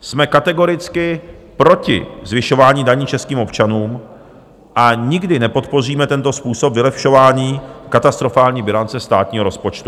Jsme kategoricky proti zvyšování daní českým občanům a nikdy nepodpoříme tento způsob vylepšování katastrofální bilance státního rozpočtu.